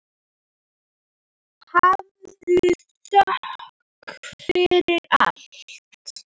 Hafðu þökk fyrir allt.